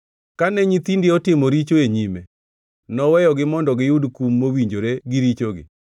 Kane nyithindi otimo richo e nyime, noweyogi mondo giyud kum mowinjore gi richogi.